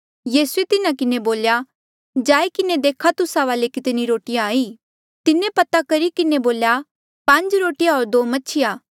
यीसूए तिन्हा किन्हें बोल्या जाई किन्हें देखा तुस्सा वाले कितनी रोटिया ई तिन्हें पता करी किन्हें बोल्या पांज रोटिया होर दो मछिया